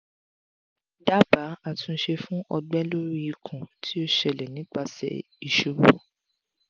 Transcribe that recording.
dabaa atunse fun ọgbẹ lori ikun ti o ṣẹlẹ nipase isubu